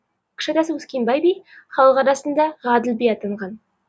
кіші атасы өскенбай би халық арасында ғаділ би атанған